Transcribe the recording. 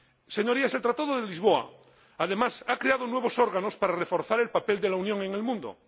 Señorías, el Tratado de Lisboa, además, ha creado nuevos órganos para reforzar el papel de la Unión en el mundo.